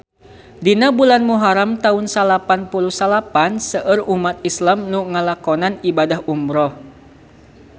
Dina bulan Muharam taun salapan puluh salapan seueur umat islam nu ngalakonan ibadah umrah